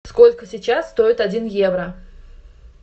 сколько сейчас стоит один евро